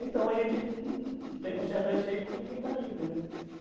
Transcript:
Então, a gente tem um certo receio, porque ninguém está livre, né.